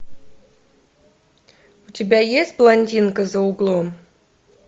у тебя есть блондинка за углом